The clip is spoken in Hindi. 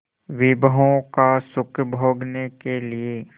विभवों का सुख भोगने के लिए